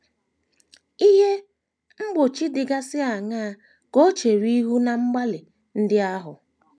Ihe mgbochi dịgasị aṅaa ka o chere ihu ná mgbalị ndị ahụ?